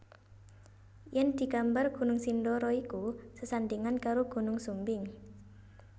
Yen digambar Gunung Sindoro iku sesandingan karo Gunung Sumbing